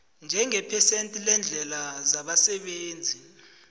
njengephesenti leendleko zabasebenzi